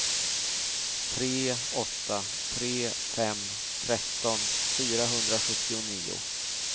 tre åtta tre fem tretton fyrahundrasjuttionio